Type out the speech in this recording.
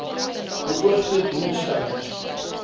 beoogde doel stellings